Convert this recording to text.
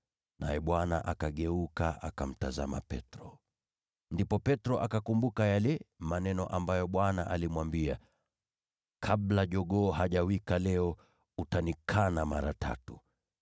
Naye Bwana akageuka, akamtazama Petro. Ndipo Petro akakumbuka lile neno ambalo Bwana alimwambia: “Kabla jogoo hajawika leo, utanikana mara tatu.”